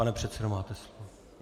Pane předsedo, máte slovo.